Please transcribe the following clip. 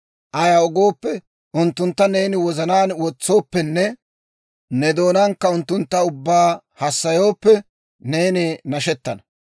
Ayaw gooppe, unttuntta ne wozanaan wotsooppenne ne doonaankka unttunttu ubbaa hassayooppe, neeni nashettana.